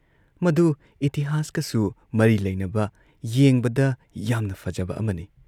ꯃꯗꯨ ꯏꯇꯤꯍꯥꯁꯀꯁꯨ ꯃꯔꯤ ꯂꯩꯅꯕ ꯌꯦꯡꯕꯗ ꯌꯥꯝꯅ ꯐꯖꯕ ꯑꯃꯅꯤ ꯫